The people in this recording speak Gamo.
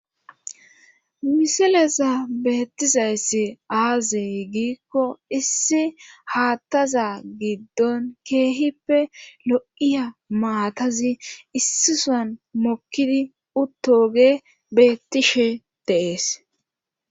Misileza beettizayssi aazey giikko issi haattaza giddon keehippe lo'iya maatazi issisan mokkidi uttoge beettishe deees